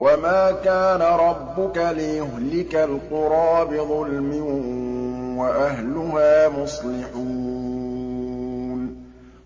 وَمَا كَانَ رَبُّكَ لِيُهْلِكَ الْقُرَىٰ بِظُلْمٍ وَأَهْلُهَا مُصْلِحُونَ